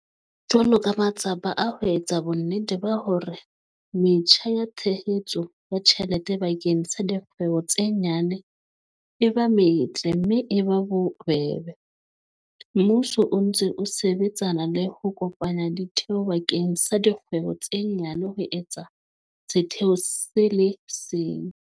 Jwalo ka matsapa a ho etsa bonnete ba hore metjha ya tshehetso ya tjhelete bakeng sa dikgwebo tse nyane e ba metle mme e ba bobebe, mmuso o ntse o sebetsana le ho kopanya ditheo bakeng sa dikgwebo tse nyane ho etsa setheo se le seng.